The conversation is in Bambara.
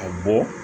A bɔ